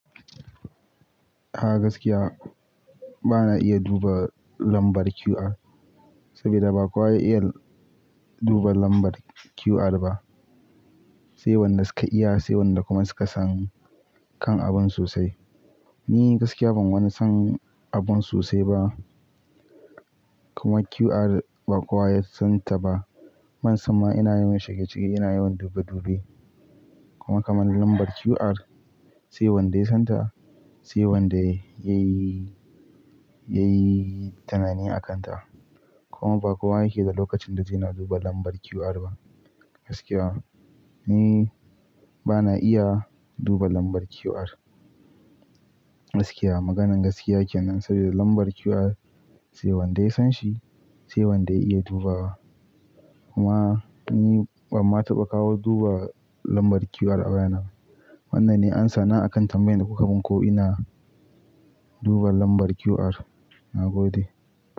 A gaskiya bana iya duba lambar QR, saboda ba kowa ya iya duba lambar QR ba. Sai wanda suka iya, sai wanda kuma suka san kan abun sosai. Ni gaskiya ban wani san abun sosai ba, kuma QR ba kowa ya san ta ba. Man samma ina yawan shege-shege, ina yawan dube-dube. Kuma kaman lambar QR, sai wanda ya san ta, sai wanda ya yi, ya yi tunani a kan ta. Kuma ba kowa yake da lokacin da zai na duba lambar QR ba. Gaskiya ni bana iya duba lambar QR. Gaskiya, maganan gaskiya kenan saboda lambar QR sai wanda ya san shi, sai wanda ya iya dubawa. Kuma ni ban ma taɓa kawo duba lambar QR a wayana. Wannan ne amsana akan tambayan da kuka min ko ina duba lambar QR. Na gode.